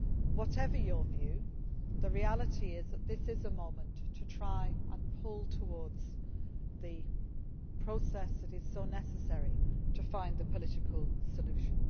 Whatever your view, the reality is that this is a moment to try to pull towards the process that is so necessary to find a political solution.